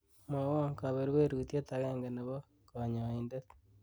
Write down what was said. mwowon kaberberutiet agenge nebo konyoindet